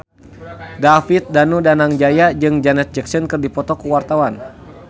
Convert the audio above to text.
David Danu Danangjaya jeung Janet Jackson keur dipoto ku wartawan